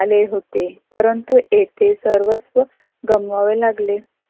आले होते परंतु येथे सर्वत्र गमवावे लागले.